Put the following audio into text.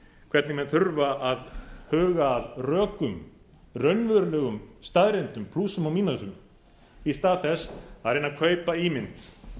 hvernig menn þurfa að huga að rökum raunverulegum staðreyndum plúsum og mínusum í stað þess að reyna að kaupa ímynd